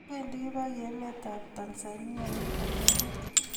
wengi kibaki enet ab tanzania en konegit